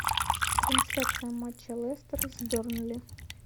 трансляция матча лестер с бернли